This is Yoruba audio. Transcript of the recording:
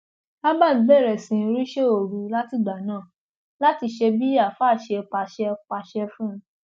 albert bẹrẹ sí í ríṣẹ òru látìgbà náà láti ṣe bí àáfàá ṣe pàṣẹ pàṣẹ fún un